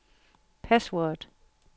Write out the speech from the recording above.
password